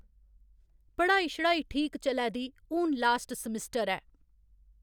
पढ़ाई शढ़ाई ठीक चलै दी हून लास्ट समिस्टर ऐ।